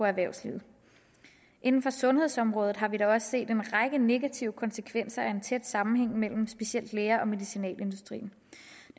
erhvervslivet inden for sundhedsområdet har vi da også set en række negative konsekvenser af en tæt sammenhæng mellem specielt læger og medicinalindustrien